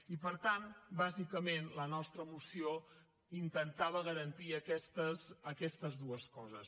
i per tant bàsicament la nostra moció intentava garantir aquestes dues coses